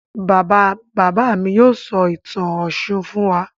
Bàbá-bàbá mi yóò sọ ìtàn Ọ̀ṣun fún wa.